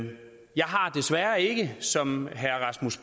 har desværre ikke som herre rasmus